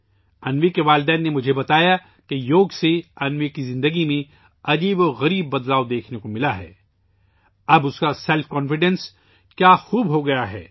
انوی کے والدین نے مجھے بتایا کہ یوگا سے انوی کی زندگی میں حیرت انگیز تبدیلیاں دیکھنے کو ملی ہیں، اب اس کی خود اعتمادی حیرت انگیز ہو گئی ہے